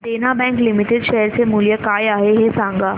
देना bank limited share चे मूल्य काय आहे हे सांगा